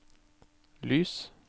lys